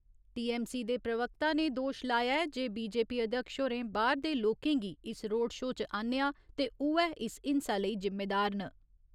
TMC दे प्रवक्ता ने दोश लाया ऐ जे बीजेपी अध्यक्ष होरें बाह्‌र दे लोकें गी इस रोड शो च आह्न्नेआ ते उऐ इस हिंसा लेई जिम्मेदार न।